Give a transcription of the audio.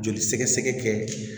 Joli sɛgɛsɛgɛ kɛ